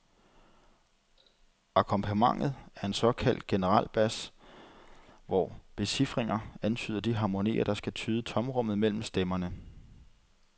Akkompagnementet er en såkaldt generalbas hvor becifringer antyder de harmonier der skal fylde tomrummet mellem stemmerne.